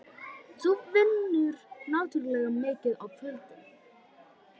Þú vinnur náttúrlega mikið á kvöldin.